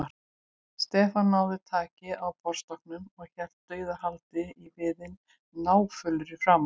Stefán náði taki á borðstokknum og hélt dauðahaldi í viðinn, náfölur í framan.